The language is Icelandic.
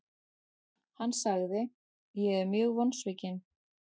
Hann sagði:, Ég er mjög vonsvikinn.